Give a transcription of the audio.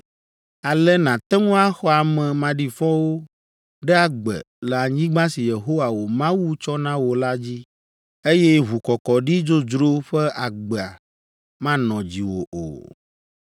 Ale nàte ŋu axɔ ame maɖifɔwo ɖe agbe le anyigba si Yehowa wò Mawu tsɔ na wò la dzi, eye ʋukɔkɔɖi dzodzro ƒe agba manɔ dziwò o.